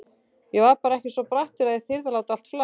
Ég var bara ekki svo brattur að ég þyrði að láta allt flakka.